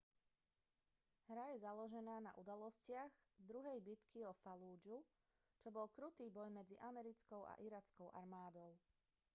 hra je založená na udalostiach druhej bitky o fallúdžu čo bol krutý boj medzi americkou a irackou armádou